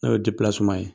N'o ye ye